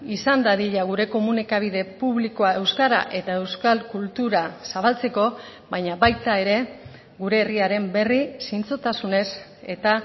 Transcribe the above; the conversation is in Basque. izan dadila gure komunikabide publikoa euskara eta euskal kultura zabaltzeko baina baita ere gure herriaren berri zintzotasunez eta